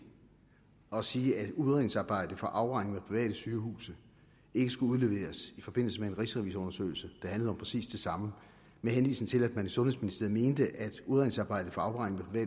at sige at udredningsarbejdet for afregning med private sygehuse ikke skulle udleveres i forbindelse med en rigsrevisionsundersøgelse der handlede om præcis det samme med henvisning til at man i sundhedsministeriet mente at udredningsarbejdet for afregning med